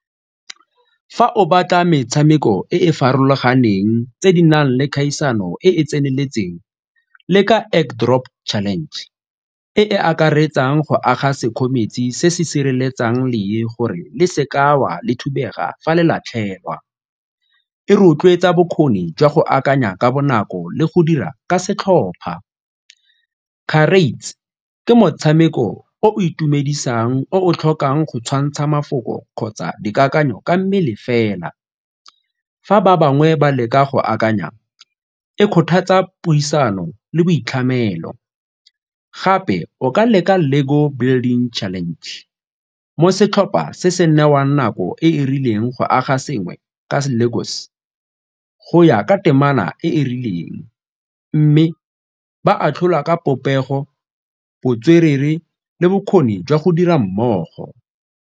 Fa o batla metshameko e e farologaneng tse di nang le kgaisano e e tseneletseng le ka drop challenge e e akaretsang go aga se se sireletsang lee gore le seka wa le thubega fa le latlhegwa, e rotloetsa bokgoni jwa go akanya ka bonako le go dira ka setlhopha. Charades, ke motshameko o itumedisang o tlhokang go tshwantsha mafoko kgotsa dikakanyo ka mmele fela, fa ba bangwe ba leka go akanya, e kgothatsa puisano le boitlhamelo. Gape o ka leka LEGO building challenge, mo setlhopha se se newang nako e e rileng go aga sengwe ka LEGOs go ya ka temana e e rileng mme ba atlhola ka popego, botswerere le bokgoni jwa go dira mmogo.